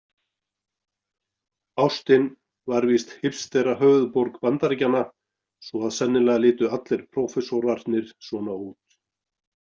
Austin var víst hipsterahöfuðborg Bandaríkjanna svo að sennilega litu allir prófessorarnir svona út.